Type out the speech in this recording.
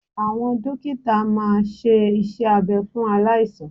Awọn dókítà máa ṣe iṣẹ́ abẹ fún aláìsàn